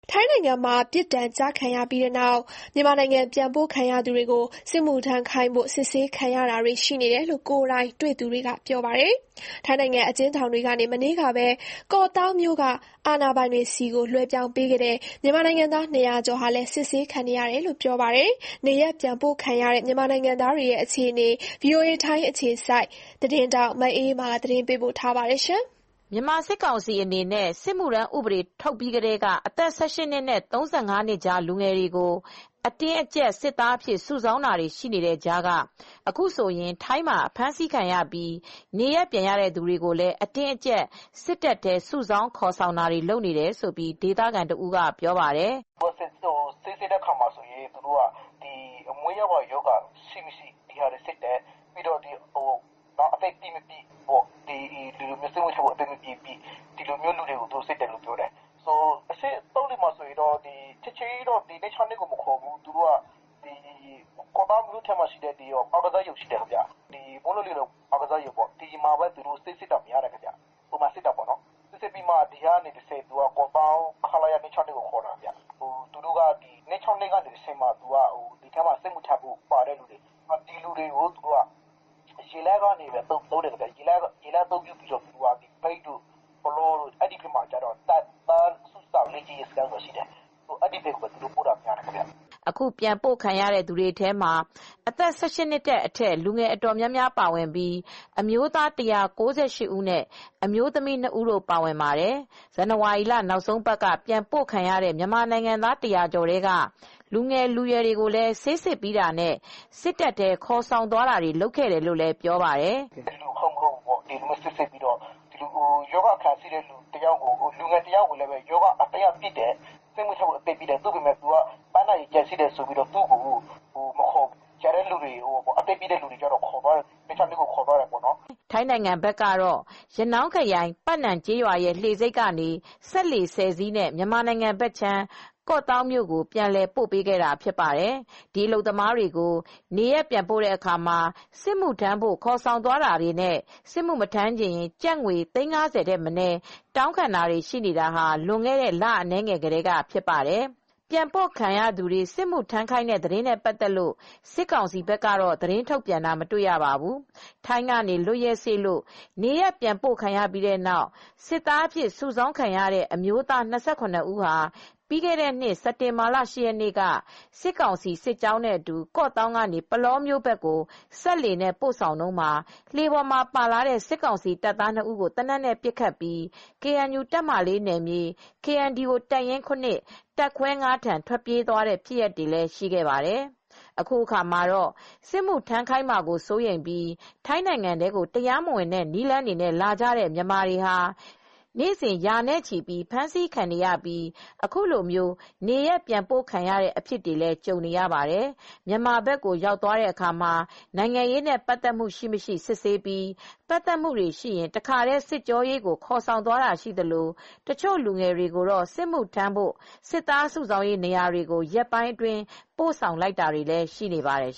ထိုင်းနိုင်ငံမှာပြစ်ဒဏ်ကျခံပြီးနောက် မြန်မာနိုင်ငံဘက်ပြန်ပို့ခံရသူတွေကို စစ်မှုထမ်းခိုင်းဖို့ စစ်ဆေးခံ နေရတယ်လို့ ကိုယ်တိုင်တွေ့သူတွေက ပြောပါတယ်။ ထိုင်းနိုင်ငံ အကျဉ်းထောင်တွေကနေ မနေ့ကပဲ ကော့သောင်းမြို့က အာဏာပိုင်တွေထံ လွှဲပြောင်းပေးခဲ့တဲ့ မြန်မာနိုင်ငံသား (၂၀၀) ကျော်ဟာလည်း စစ်ဆေးခံနေရတယ်လို့ ပြောပါတယ်။ နေရပ်ပြန်ပို့ခံရတဲ့ မြန်မာနိုင်ငံသားတွေ အခြေအနေ ဗွီအိုအေ ထိုင်းအခြေစိုက် မအေးအေးမာ သတင်းပေးပို့ထားပါတယ်။ မြန်မာစစ်ကောင်စီက စစ်မှုထမ်းဥပဒေထုတ်ပြီးချိန်ကစလို့ အသက် (၁၈) နှစ်နဲ့ (၃၅) နှစ်ကြား လူငယ်တွေကို အတင်းအကြပ်စစ်သားစုဆောင်းနေတဲ့ကြားက အခုဆိုရင် ထိုင်းမှာအဖမ်းခံရပြီး နေရပ်ပြန်ပို့ခံရသူတွေ ကိုလည်း အတင်းအကြပ် စစ်တပ်ထဲ စုဆောင်းခေါ်ဆောင်နေတယ်လို့ ဒေသခံတဦးကပြောပါတယ်။ “ဆေးစစ်တဲ့အခါမှာ မွေးရာပါရောဂါတွေ ရှိမရှိစစ်ဆေးတယ်။ ပြီးတော့ စစ်မှုထမ်းဖို့ အသက်ပြည့် မပြည့်ကိုစစ်တယ်။ ချက်ချင်းကြီးတော့ ခလရ (၂၆၂) ကိုမခေါ်သေးဘူး။ ကော့သောင်းက မိုးလုံလေလုံ အားကစားရုံမှာထားပြီး ဆေးစစ်တယ်။ ပြီးတော့မှ ကော့သောင်းကခလရ (၂၆၂) ကိုခေါ်သွားတယ်။ ပြီးတော့ သူတို့က (၂၆၂) ကနေတဆင့် စစ်မှုထမ်းဖို့ပါတဲ့သူတွေကို ရေလမ်းအသုံးပြုပြီး မြိတ်ဘက်က တပ်သားစုဆောင်းရေးနေရာတွေကို ပို့တာများပါတယ်။” အခုပြန်ပို့ခံရတဲ့ သူတွေထဲမှာအသက် (၁၈) အထက် လူငယ်အတော်များများပါဝင်ပြီး အမျိုးသား (၁၉၈) ဦးနဲ့ အမျိုးသမီးနှစ်ဦးတို့ပါဝင်ပါတယ် ။ ဇန်နဝါရီလ နောက်ဆုံးအပတ်က ပြန်ပို့ခံရတဲ့ မြန်မာနိုင်ငံသား (၁၀၀) ကျော်ထဲက လူငယ်လူရွယ်တွေကို ဆေးစစ်ပြီးတာနဲ့ စစ်တပ်ထဲခေါ်သွားခဲ့တယ်လို့လည်းပြောပါတယ်။” “ရောဂါအခံရှိတဲ့တယောက်ကိုတော့ စစ်မှုထမ်းဖို့အသက်ပြည့်ပေမယ့် ပန်းနာရင်ကြပ်ရှိလို့တော့ မခေါ်ဘူး။ ကျန်တဲ့လူငယ်တွေကိုတော့ ခလရ (၂၆၂) ကိုခေါ်သွားတယ်။” ထိုင်းနိုင်ငံဘက်က ရနောင်းခရိုင် ပတ်နမ်ကျေးရွာရဲ့လှေဆိပ်ကနေ စက်လှေ (၁၀) စီးနဲ့ မြန်မာဘက်ခြမ်း ကော့သောင်းမြို့ကို ပြန်လည်ပို့ပေးခဲ့ဖြစ်ပါတယ်။ ဒီအလုပ်သမားတွေကို နေရပ်ပြန်ပို့တဲ့အခါမှာ စစ်မှုထမ်းဖို့ခေါ်ဆောင်သွားတာတွေနဲ့ စစ်မှုမထမ်းချင်ရင် ကျပ်ငွေ သိန်း (၅၀) ထက်မနည်း တောင်းခံနေ တာဟာ လွန်ခဲ့တဲ့ လအနည်းငယ်ကတည်းကဖြစ်ပါတယ်။ ပြန်ပို့ခံရသူတွေကိုစစ်မှုထမ်းခိုင်းတဲ့ သတင်းတွေနဲ့ ပတ်သက်လို့ စစ်ကောင်စီက သတင်းထုတ်ပြန်တာတော့ မတွေ့ရပါဘူး။ ပြီးခဲ့တဲ့နှစ် စစ်တင်ဘာလ (၈) ရက်နေ့က ထိုင်းကနေ လွတ်ရက်စေ့လို့ နေရပ်ပြန်ပို့ခံရပြီး စစ်သားစု ဆောင်းခံရတဲ့ အမျိုးသား (၂၇) ဦးဟာ စစ်ကောင်စီစစ်ကြောင်းနဲ့အတူ ကော့သောင်းကနေ ပုလောမြို့နယ် ဘက်ကို စက်လှေနဲ့ပို့ဆောင်တုန်းမှာ လှေပေါ်မှာပါလာတဲ့ စစ်ကောင်စီတပ်သားနှစ်ဦးကို သေနတ်နဲ့ပစ်ခတ်ပြီး KNU တပ်မဟာ (၄) နယ်မြေ၊ KNDO တပ်ရင်း (၇) တပ်ခွဲ (၅)ထံ ထွက်ပြေးသွားတဲ့ဖြစ်ရပ်တွေလည်းရှိခဲ့ပါတယ်။ အခုအခါမှာတော့ စစ်မှုထမ်းခိုင်းမှာကိုစိုးရိမ်ပြီး ထိုင်းနိုင်ငံထဲကိုတရားမဝင်တဲ့နည်းလမ်းတွေနဲ့ လာကြတဲ့ မြန်မာတွေဟာ နေ့စဉ်ရာနဲ့ချီပြီးဖမ်းဆီးခံနေရပြီး အခုလို နေရပ်ပြန်ပို့ခံရတဲ့အဖြစ်တွေကိုလည်း ကြုံနေရ ပါတယ်။ မြန်မာဘက်ကိုရောက်သွားတဲ့အခါမှာ နိုင်ငံရေးနဲ့ပတ်သက်မှု ရှိမရှိစစ်ဆေးပြီး ပတ်သက်မှု တွေရှိရင် တခါတည်း စစ်ကြောရေးကိုခေါ်ဆောင်သွားတာရှိသလို တချို့လူငယ်တွေကိုတော့ စစ်မှုထမ်းဖို့ စစ်သားစုဆောင်းရေးနေရာတွေကို ရက်ပိုင်းအတွင်း ပို့ဆောင်လိုက်တာတွေလည်း ရှိနေပါတယ်